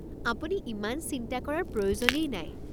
আপুনি ইমান চিন্তা কৰাৰ প্ৰয়োজনেই নাই।